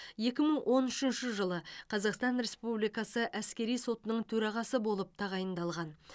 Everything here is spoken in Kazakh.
екі мың он үшінші жылы қазақстан республикасы әскери сотының төрағасы болып тағайындалған